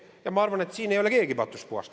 Ja ma arvan, et siin ei ole keegi patust puhas.